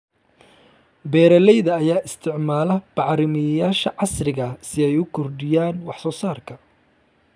Beeralayda ayaa isticmaala bacrimiyeyaasha casriga ah si ay u kordhiyaan wax soo saarka.